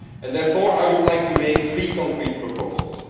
Therefore, I would like to make three concrete proposals.